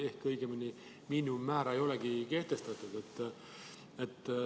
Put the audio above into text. Õigemini miinimummäära ei olegi kehtestatud.